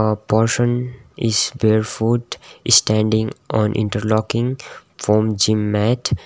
a person is barefoot standing on interlocking form gym mat.